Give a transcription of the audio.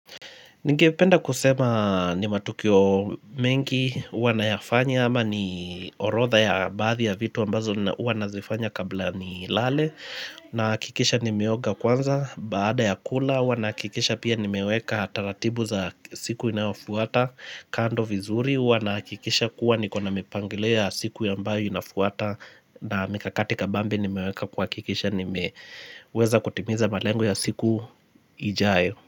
Ningependa kusema ni matukio mengi, huwa nayafanya ama ni orotha ya baadhi ya vitu ambazo huwa nazifanya kabla ni lale. Na hakikisha nimeoga kwanza, baada ya kula, huwa nahakikisha pia ni meweka taratibu za siku inayofuata kando vizuri, huwa nahakikisha kuwa ni kuna mipangilio ya siku ambayo inafuata. Na mikakatika kabambi nimeweka ku hakikisha nimeweza kutimiza malengo ya siku ijayo.